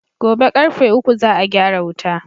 Gobe ƙarfe uku za a gyara wuta